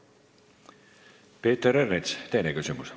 Peeter Ernits, teine küsimus.